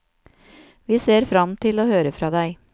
Vi ser fram til å høre fra deg.